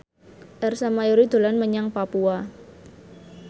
Ersa Mayori dolan menyang Papua